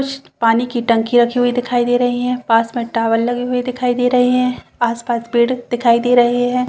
कुछ पानी की टंकी रखी हुई दिखाई दे रही है पास में टावर लगे हुए दिखाई दे रहे है आसपास पेड़ दिखाई दे रहे हैं।